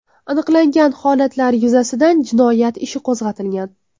Aniqlangan holatlar yuzasidan jinoyat ishi qo‘zg‘atilgan.